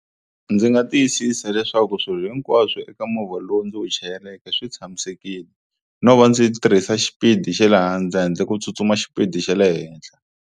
Ndzi nga tiyisisa leswaku swilo hinkwaswo eka movha lowu ndzi wu chayeleke swi tshamisekile no va ndzi tirhisa xipidi xa le hansi handle ko tsutsuma xipidi xa le henhla.